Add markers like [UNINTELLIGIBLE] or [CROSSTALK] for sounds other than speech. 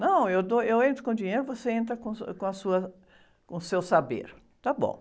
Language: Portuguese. Não, eu dou, eu entro com dinheiro, você entra com o, [UNINTELLIGIBLE] com a sua, com seu saber. Está bom.